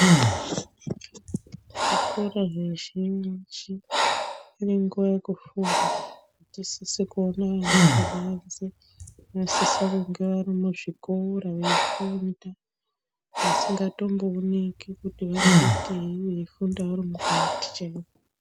Zvikora zvizhinji, zvine nguwa yekufunda atisisi kuona vana pabanze vanosisa kunge vari muzvikora, veifunda asingatombooneki kuti vari kuitei ,veifunda vari mukati chaimo.